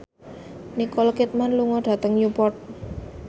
Nicole Kidman lunga dhateng Newport